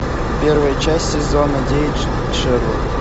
первая часть сезона девять шерлок